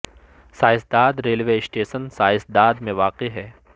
سائیں Dad railway station Sain Dad میں واقع ہے